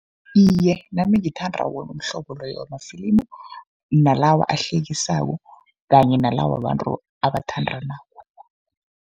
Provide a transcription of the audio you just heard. Iye, nami ngithanda wona umhlobo loyo wamafilimu, nalawa ahlekisako kanye nala wabantu abathandanako.